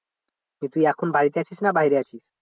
তা তুই এখন বাড়িতে আছিস না বাইরে আছিস?